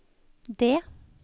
D